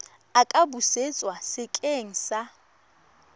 a ka busetswa sekeng sa